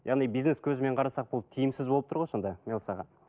яғни бинес көзімен қарасақ бұл тиімсіз болып тұр ғой сонда мелс аға